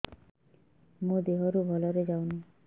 ମୋ ଦିହରୁ ଭଲରେ ଯାଉନି